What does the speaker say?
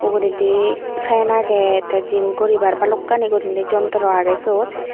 uguredi fan agey the gym guribar bhalokkani guriney jontro agey sut.